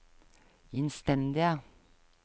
innstendige